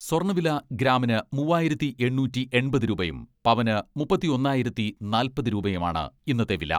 സ്വർണ്ണവില ഗ്രാമിന് മൂവായിരത്തി എണ്ണൂറ്റി എൺപത് രൂപയും പവന് മുപ്പത്തൊന്നായിരത്തി നാൽപ്പത് രൂപയുമാണ് ഇന്നത്തെ വില.